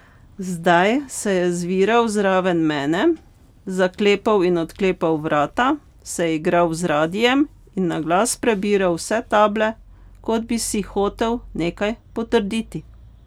Zdaj se je zviral zraven mene, zaklepal in odklepal vrata, se igral z radiem in na glas prebiral vse table, kot bi si hotel nekaj potrditi.